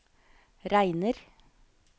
regner